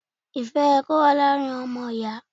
Ìfẹ́ yẹ kó wà láàrin àwọn ọmọ Ìyà.